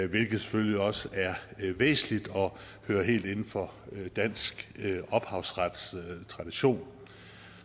hvilket selvfølgelig også er væsentligt og hører helt inden for dansk ophavsretstradition